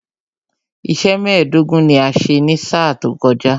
Iṣẹ́ mẹ́ẹ̀dógún ni a ṣe ní sáà tó kọjá